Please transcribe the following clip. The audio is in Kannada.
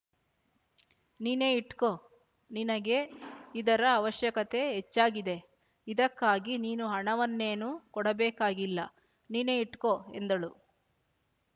ನೀನೇ ಇಟ್ಕೋ ನಿನಗೇ ಇದರ ಅವಶ್ಯಕತೆ ಹೆಚ್ಚಾಗಿದೆ ಇದಕ್ಕಾಗಿ ನೀನು ಹಣವನ್ನೇನೂ ಕೊಡಬೇಕಾಗಿಲ್ಲ ನೀನೇ ಇಟ್ಕೋ ಎಂದಳು